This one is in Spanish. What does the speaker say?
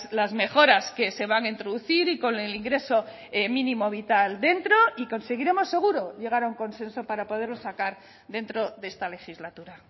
las mejoras que se van a introducir y con el ingreso mínimo vital dentro y conseguiremos seguro llegar a un consenso para poderlo sacar dentro de esta legislatura